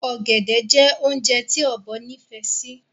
Ọ̀gẹ̀dẹ̀ jẹ́ oúnjẹ tí Ọ̀bọ nifẹ sì